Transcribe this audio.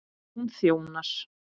Hún þjónar